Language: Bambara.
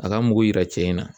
A k'a mugu yira cɛ in na.